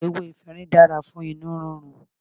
Ewé efinrin dára fún inú rírun.